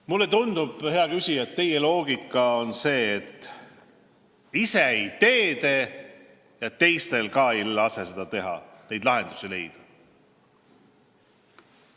Mulle tundub, hea küsija, et teie loogika on see, et ise ei tee ja teistel ka ei lase neid lahendusi leida.